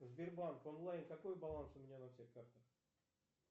сбербанк онлайн какой баланс у меня на всех картах